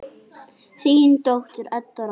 Þín dóttir, Edda Rósa.